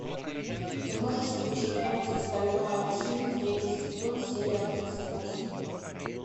ты можешь включить мультик стальной алхимик третий сезон серия тридцать восемь